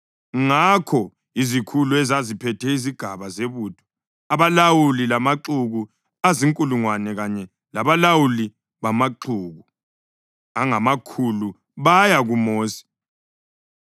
Ngakho izikhulu ezaziphethe izigaba zebutho, abalawuli bamaxuku azinkulungwane kanye labalawuli bamaxuku angamakhulu baya kuMosi